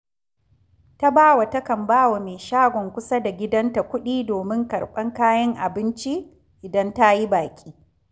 Tabawa takan ba wa mai shagon kusa da gidanta kuɗi domin karɓar kayan abinci idan ta yi baƙi